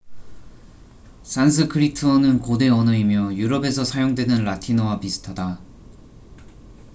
산스크리트어는 고대 언어이며 유럽에서 사용되는 라틴어와 비슷하다